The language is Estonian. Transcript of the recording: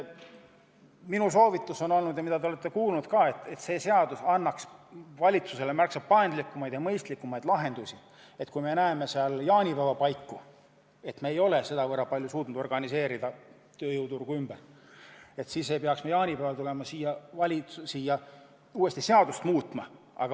Minu soovitus on olnud selline ja te olete seda ka kuulnud: see seadus peaks andma valitsusele võimaluse teha märksa paindlikumaid ja mõistlikumaid lahendusi, nii et kui me jaanipäeva paiku näeme, et me pole suutnud tööjõuturgu piisavalt palju ümber organiseerida, siis ei peaks me jaanipäeval tulema siia uuesti seadust muutma.